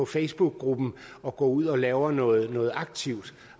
facebookgruppen og går ud og laver noget noget aktivt